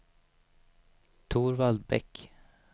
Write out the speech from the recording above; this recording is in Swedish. Torvald Bäck